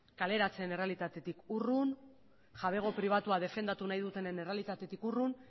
kaleratzeen errealitatetik urrun jabego pribatua defendatu nahi dutenen errealitatetik urrun